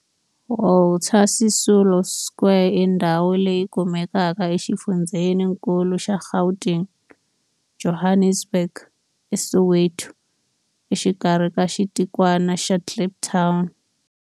Walter Sisulu Square i ndhawu leyi kumekaka exifundzheni-nkulu xa Gauteng, Johannesburg, a Soweto, exikarhi ka xitikwana xa Kliptown.